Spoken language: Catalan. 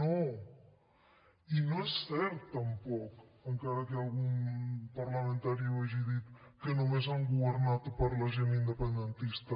no i no és cert tampoc encara que algun parlamentari ho hagi dit que només han governat per a la gent independentista